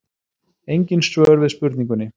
Engin svör við spurningunni.